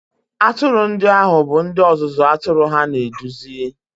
Atụrụ ndị ahụ bụ ndị ọzụzụ atụrụ ha na-eduzi